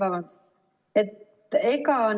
Vabandust!